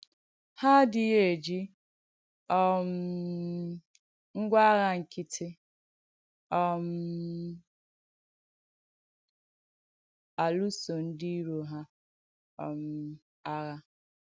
Hà adịghị́ ejì um ngwà àghà ǹkị̀tì um alụ̀sò ndí ìrò hà um àghà.